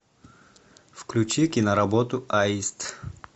включи киноработу аист